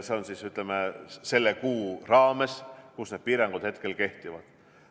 See on, ütleme, selle kuu raames, kui need piirangud kehtivad.